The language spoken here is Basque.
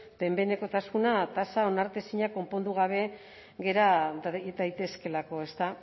behin behinekotasun tasa onartezina konpondu gabe gera daitezkeelako ezta